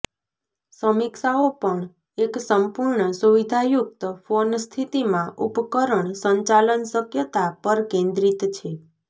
સમીક્ષાઓ પણ એક સંપૂર્ણ સુવિધાયુક્ત ફોન સ્થિતિમાં ઉપકરણ સંચાલન શક્યતા પર કેન્દ્રિત છે